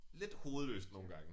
Lidt hovedløst nogle gange